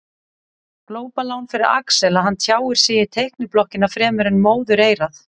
Glópalán fyrir Axel að hann tjáir sig í teikniblokkina fremur en móðureyrað.